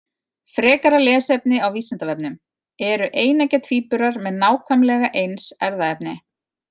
Frekara lesefni á Vísindavefnum: Eru eineggja tvíburar með nákvæmlega eins erfðaefni?